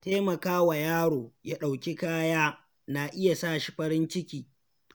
Taimaka wa yaro ya ɗauki kaya na iya sa shi farin ciki.